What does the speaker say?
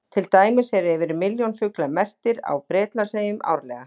Til dæmis eru yfir milljón fuglar merktir á Bretlandseyjum árlega.